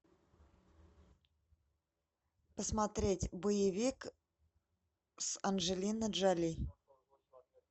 посмотреть боевик с анджелиной джоли